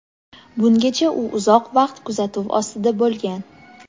bungacha u uzoq vaqt kuzatuv ostida bo‘lgan.